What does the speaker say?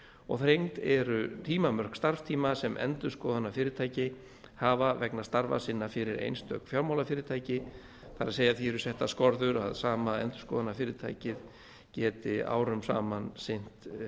og þrengd eru tímamörk starfstíma sem endurskoðunarfyrirtæki hafa vegna starfa sinna fyrir einstök fjármálafyrirtæki það er að því eru settar skorður að sama endurskoðunarfyrirtækið geti árum saman sinnt